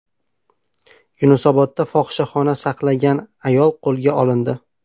Yunusobodda fohishaxona saqlagan ayol qo‘lga olindi.